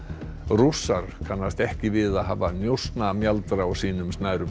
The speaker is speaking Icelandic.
Rússar kannast ekki við að hafa njósnamjaldra á sínum snærum